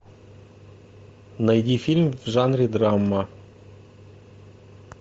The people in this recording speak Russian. найди фильм в жанре драма